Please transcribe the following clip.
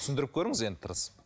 түсіндіріп көріңіз енді тырысып